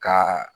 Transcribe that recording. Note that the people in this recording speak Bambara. Ka